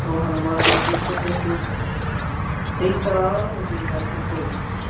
Jóhanna Margrét Gísladóttir: Einhverjar ráðleggingar til fólks?